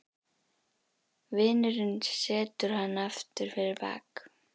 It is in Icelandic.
Vinurinn setur hana aftur fyrir bak.